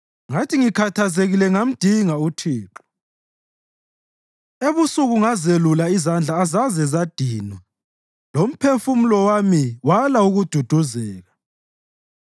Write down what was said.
Ngathi ngikhathazekile ngamdinga uThixo; ebusuku ngazelula izandla azazezadinwa lomphefumulo wami wala ukududuzeka.